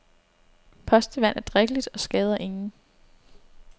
Postevand er drikkeligt og skader ingen.